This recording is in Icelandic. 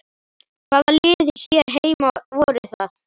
Hvaða lið hér heima voru það?